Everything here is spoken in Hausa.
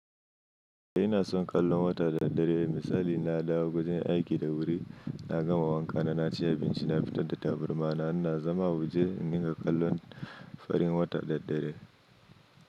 Eh ina son kallon wata da dare. Misali, na dawo wajen aiki da wuri, na gama wanka na ci abinci, na fita da tabarma, na zama waje n'niga kallon farin wata da dare.